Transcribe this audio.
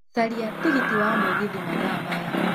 caria tigiti wa mũgithi mathaa rĩrĩ